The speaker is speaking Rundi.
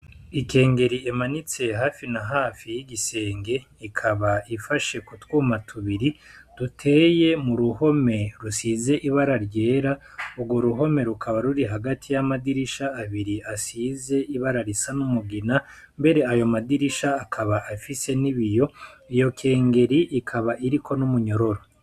Ikengeri imanitse hafi na hafi y'igisenge ikaba ifashe kutwuma tubiri duteye mu ruhome rusize ibara ryera urwo ruhome rukaba ruri hagati y'amadirisha abiri asize ibara risa n'umugina mbere ayo madirisha akaba afise nibiyo iyo kengeri ikaba iriko n'umunyororo.